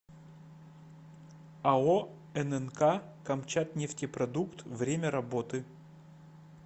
ао ннк камчатнефтепродукт время работы